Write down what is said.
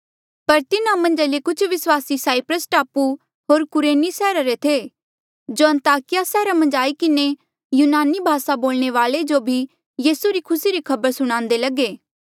पर तिन्हा मन्झा ले कुछ विस्वासी साईप्रस टापू होर कुरेनी सैहरा रे थे जो अन्ताकिया सैहरा मन्झ आई किन्हें यूनानी भासा बोलणे वाल्ऐ जो भी यीसू री खुसी री खबर सुणान्दे लगे